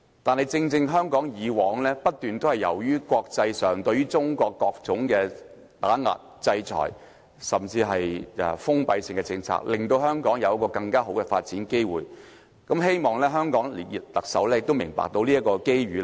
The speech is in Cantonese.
但是，正正由於國際上不斷對中國作出各種打壓、制裁，甚至採取封閉性的政策，香港因而有更好的發展機會，希望香港特首亦明白這個機遇。